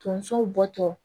Tonsow bɔtɔ